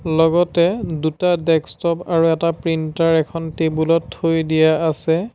লগতে দুটা ডেস্কটপ আৰু এটা প্ৰিণ্টাৰ এখন টেবুল ত থৈ দিয়া আছে।